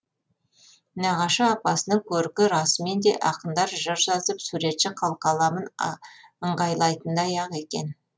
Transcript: нағашы апасының көркі расымен де ақындар жыр жазып суретші қылқаламын ыңғайлайтындай ақ екен